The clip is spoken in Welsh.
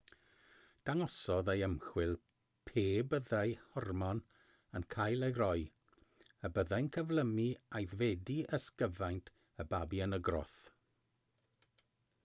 dangosodd ei ymchwil pe byddai hormon yn cael ei roi y byddai'n cyflymu aeddfedu ysgyfaint y babi yn y groth